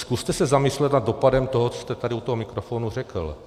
Zkuste se zamyslet nad dopadem toho, co jste tady u toho mikrofonu řekl.